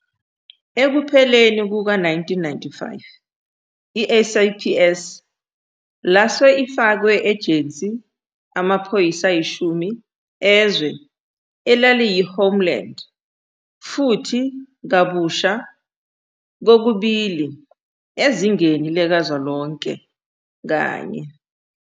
Ekupheleni kuka-1995, i-SAPS lase ifakwe ejensi amaphoyisa ayishumi ezwe elaliyi -homeland, futhi kabusha kokubili ezingeni likazwelonke kanye.